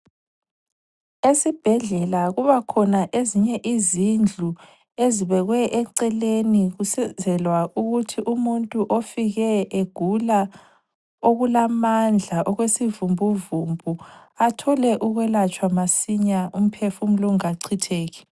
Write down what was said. Esibhedlela kubakhona ezinye izindlu ezibekwe eceleni kusenzelwa ukuthi umuntu ofike egula okulamandla okwesivumbuvumbu athole ukwelatshwa masinya umphefumulo ungakachitheki